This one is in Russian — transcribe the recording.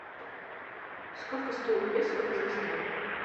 сколько стоит песо в казахстане